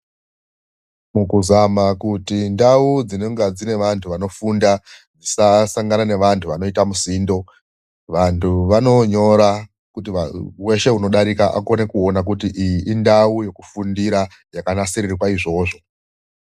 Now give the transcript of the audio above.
Mukuzama kuti ndau dzinenge dzine vantu vanofunda dzisasangane nevantu vanoite musindo vantu vanonyora kuti weshe anodarika akone kuona kuti indau yekufunda yakanasirirwa izvozvo